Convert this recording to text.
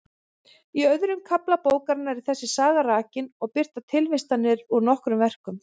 Í öðrum kafla bókarinnar er þessi saga rakin og birtar tilvitnanir úr nokkrum verkum.